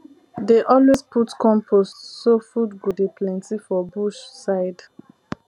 dey always put compost so food go dey plenty for bush side